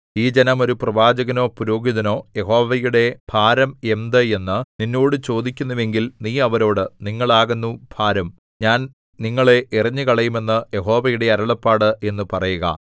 ഈ ജനം ഒരു പ്രവാചകനോ പുരോഹിതനോ യഹോവയുടെ ഭാരം അരുളപ്പാട് എന്ത് എന്നു നിന്നോട് ചോദിക്കുന്നുവെങ്കിൽ നീ അവരോട് നിങ്ങൾ ആകുന്നു ഭാരം ഞാൻ നിങ്ങളെ എറിഞ്ഞുകളയും എന്ന് യഹോവയുടെ അരുളപ്പാട് എന്നു പറയുക